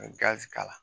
N ye gazi k'a la